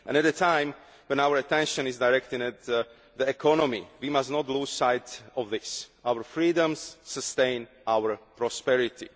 values. At a time when our attention is directed at the economy, we must not lose sight of this our freedoms sustain our prosperity.